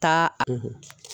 taa